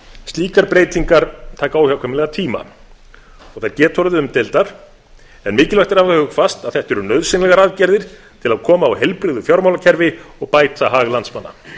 slíkar breytingar taka óhjákvæmilega tíma og þær geta orðið umdeildar en mikilvægt er að hafa hugfast að þetta eru nauðsynlegar aðgerðir til að koma á heilbrigðu fjármálakerfi og bæta hag landsmanna